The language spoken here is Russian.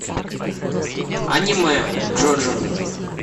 аниме джоджо